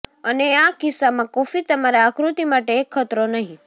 અને આ કિસ્સામાં કોફી તમારા આકૃતિ માટે એક ખતરો નહીં